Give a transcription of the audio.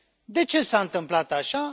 De ce s a întâmplat așa?